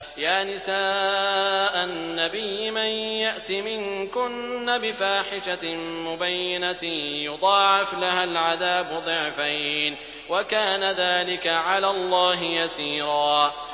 يَا نِسَاءَ النَّبِيِّ مَن يَأْتِ مِنكُنَّ بِفَاحِشَةٍ مُّبَيِّنَةٍ يُضَاعَفْ لَهَا الْعَذَابُ ضِعْفَيْنِ ۚ وَكَانَ ذَٰلِكَ عَلَى اللَّهِ يَسِيرًا